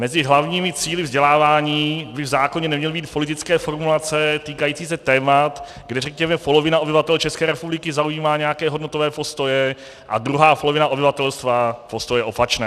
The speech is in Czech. Mezi hlavními cíli vzdělávání by v zákoně neměly být politické formulace týkající se témat, kde řekněme polovina obyvatel České republiky zaujímá nějaké hodnotové postoje a druhá polovina obyvatelstva postoje opačné.